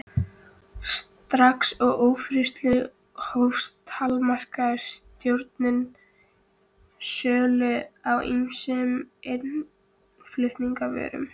Strax og ófriðurinn hófst, takmarkaði stjórnin sölu á ýmsum innflutningsvörum.